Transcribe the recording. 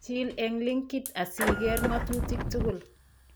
Chiil eng' linkit asikeer ng'otutik tugul